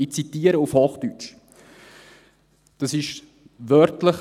Ich zitiere den Preisüberwacher auf Hochdeutsch, dies ist wörtlich: